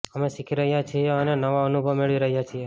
અમે શીખી રહ્યા છીએ અને નવા અનુભવ મેળવી રહ્યા છીએ